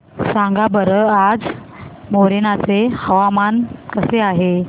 सांगा बरं आज मोरेना चे हवामान कसे आहे